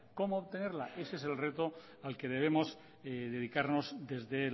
cómo obtenerla ese es el reto al que debemos dedicarnos desde